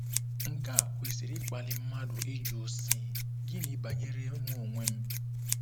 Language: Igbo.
Nke a kwesịrị ịkpali mmadụ ịjụ, sị: ‘Gịnị banyere mụ onwe m?